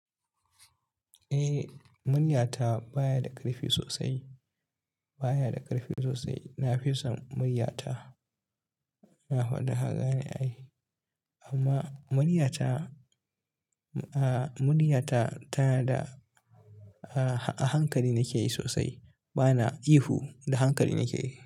Eh, murya ta baya da ƙarfi sosai, baya da ƙarfi sosai. Na fi son murya ta, na faɗi ka gane ai. Amma murya ta, ah murya ta, tana da a hankali nake yi sosai. Ba na ihu da hankali nake yi.